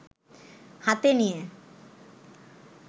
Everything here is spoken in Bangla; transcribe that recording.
হাতে নিয়ে